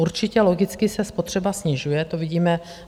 Určitě logicky se spotřeba snižuje, to vidíme.